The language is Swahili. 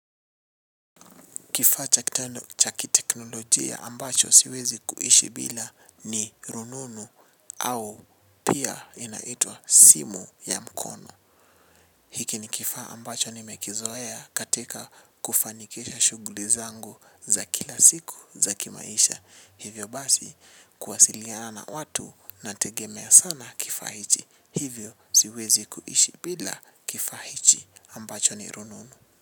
Kifaa cha kitendo cha kiteknolojia ambacho siwezi kuishi bila ni rununu au pia inaitwa simu ya mkono. Hiki ni kifaa ambacho nimekizoea katika kufanikisha shughuli zangu za kila siku za kimaisha. Hivyo basi kuwasiliana watu nategemea sana kifaa hichi. Hivyo siwezi kuishi bila kifahichi ambacho ni rununu.